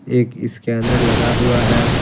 एक स्कैनर लगा हुआ है।